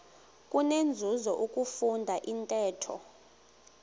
kunenzuzo ukufunda intetho